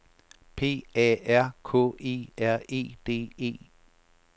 P A R K E R E D E